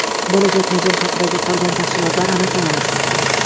Bo‘lajak model haqidagi qolgan tafsilotlar aniq emas.